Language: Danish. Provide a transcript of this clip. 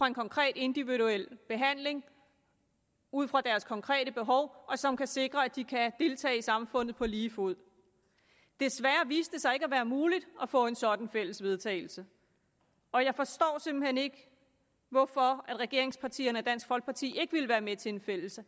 en konkret individuel behandling ud fra deres konkrete behov som kan sikre at de kan deltage i samfundet på lige fod desværre viste det sig ikke at være muligt at få et sådant fælles vedtagelse og jeg forstår simpelt hen ikke hvorfor regeringspartierne og dansk folkeparti ikke ville være med til et fælles